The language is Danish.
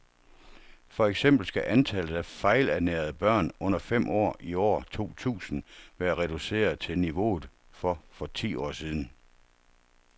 For eksempel skal antallet af fejlernærede børn under fem år i år to tusind være reduceret til niveauet for for ti år siden.